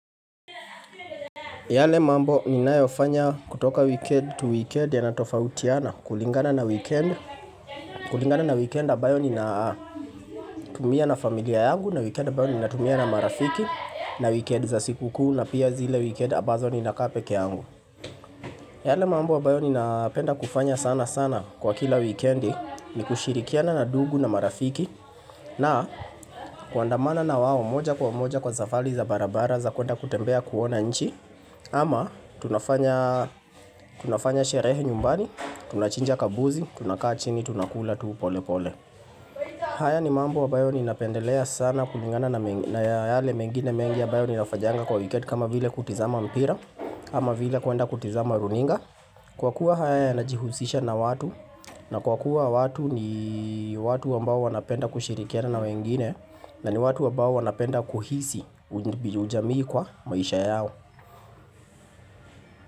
Yale mambo ninayo fanya kutoka weekend tu weekend yanatofautiana kulingana na weekend kulingana na weekend ambayo ninatumia na familia yangu na weekend ambayo ninatumia na marafiki na weekend za siku kuu na pia zile weekend ambazo ni nakaa peke yangu yale mambo ambayo ninapenda kufanya sana sana kwa kila weekend ni kushirikiana na ndugu na marafiki na kuandamana na wao moja kwa moja kwa zafari za barabara za kuenda kutembea kuona nchi ama tunafanya sherehe nyumbani, tunachinja kambuzi, tunakaa chini, tunakula tu pole pole haya ni mambo ambayo ninapendelea sana kulingana na yale mengine mengi ambayo ni nafanyanga kwa weekend kama vile kutizama mpira ama vile kuenda kutizama runinga Kwa kuwa haya yanajihusisha na watu na kwa kuwa watu ni watu ambao wanapenda kushirikiana na wengine na ni watu ambao wanapenda kuhisi ujamii kwa maisha yao.